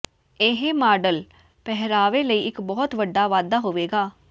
ਇਹ ਮਾਡਲ ਪਹਿਰਾਵੇ ਲਈ ਇੱਕ ਬਹੁਤ ਵੱਡਾ ਵਾਧਾ ਹੋਵੇਗਾ